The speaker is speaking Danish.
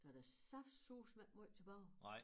Så der saftsuseme ikke måj tilbage